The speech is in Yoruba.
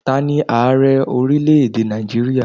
Ta ní Ààrẹ orílẹ̀ èdè Nàìjíríà?